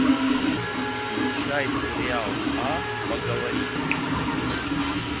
включай сериал а поговорить